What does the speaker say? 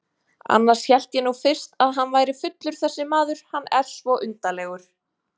Annars hélt ég nú fyrst að hann væri fullur þessi maður, hann er svo undarlegur.